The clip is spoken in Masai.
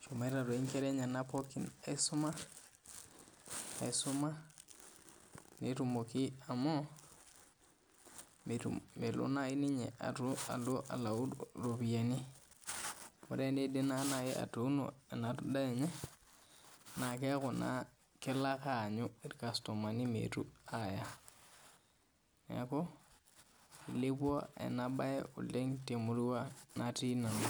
eshomo Nkera enyena aisuma amu melo naaji ninye alau eropiani tenidip atuno ena ndaa enye naa keeku kelo ake anyuu irkastomani metuu Aya neeku elepua ena mbae oleng temurua natii nanu